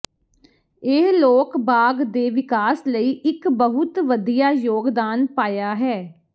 ਇਹ ਲੋਕ ਬਾਗ ਦੇ ਵਿਕਾਸ ਲਈ ਇੱਕ ਬਹੁਤ ਵਧੀਆ ਯੋਗਦਾਨ ਪਾਇਆ ਹੈ